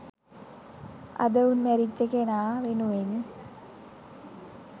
අද උන් මැරිච්ච කෙනා වෙනුවෙන්